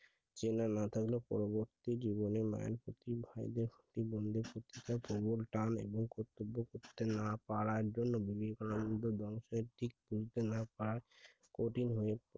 চেনা না থাকলে পরবর্তী জীবনে মায়ের প্রতি ভাই বোনদের প্রতি প্রবল টান এবং কর্তব্য না করতে পারা করার মতো বংশের ঠিক ও কর্তব্য না পারে তাহলে কঠিন হয়ে